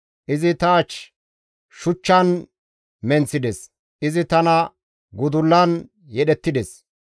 Izi ta ach shuchchan menththides; izi tana gudullan yedhettides.